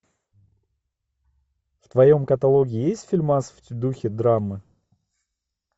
в твоем каталоге есть фильмас в духе драмы